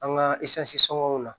An ka sɔngɔw la